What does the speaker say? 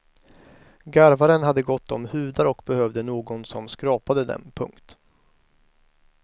Garvaren hade gott om hudar och behövde någon som skrapade dem. punkt